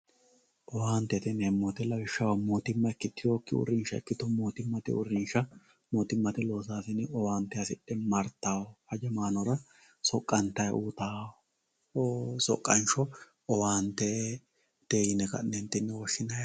Owaantete yimemowoyite lawishshaho mootuma ikitewoki uurinsha ikito mootumate uurinsha mootumate losasine owaante hasidhe martawo hajamaanra soqantay uyitawo soqansho owaantete yine ka`neentini woshinayi yaate.